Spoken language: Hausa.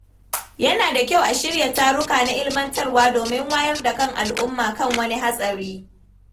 Yana da kyau a shirya taruka na ilmantarwa domin wayar da kan al’umma kan wani hatsari.